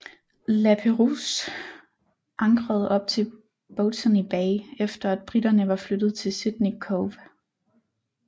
Lapérouse ankrede op i Botany Bay efter at briterne var flyttet til Sydney Cove